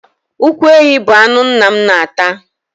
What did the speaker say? Ụkwụ ehi bụ anụ nna m na-ata.